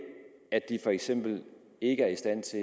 at de for eksempel ikke er i stand til